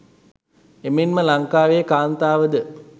එමෙන්ම ලංකාවේ කාන්තාවද